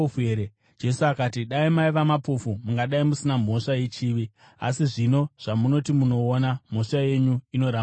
Jesu akati, “Dai maiva mapofu, mungadai musina mhosva yechivi; asi zvino zvamunoti munoona, mhosva yenyu inoramba iripo.”